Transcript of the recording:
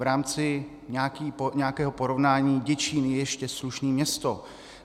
V rámci nějakého porovnání, Děčín je ještě slušné město.